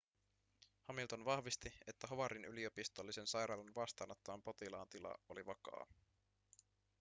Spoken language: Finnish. hamilton vahvisti että howardin yliopistollisen sairaalan vastaanottaman potilaan tila oli vakaa